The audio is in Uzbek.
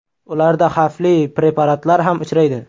Ularda xavfli preparatlar ham uchraydi.